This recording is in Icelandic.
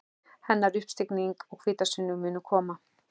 Hennar uppstigning og hvítasunna munu koma.